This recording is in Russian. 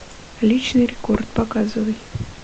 личный рекорд показывай